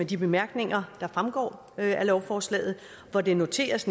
de bemærkninger der fremgår af lovforslaget hvor det noteres